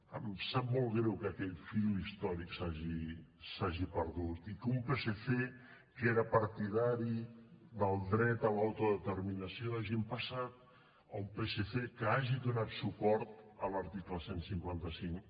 em sap molt greu que aquell fil històric s’hagi perdut i que d’un psc que era partidari del dret a l’autodeterminació hàgim passat a un psc que hagi donat suport a l’article cent i cinquanta cinc